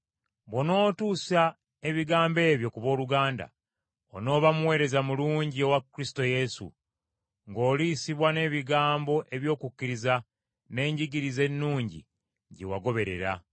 Bw’onootuusa ebigambo ebyo ku booluganda, onooba muweereza mulungi owa Kristo Yesu, ng’oliisibwa n’ebigambo eby’okukkiriza, n’enjigiriza ennungi gye wagoberera.